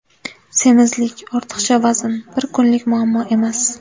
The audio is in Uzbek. Semizlik, ortiqcha vazn bir kunlik muammo emas.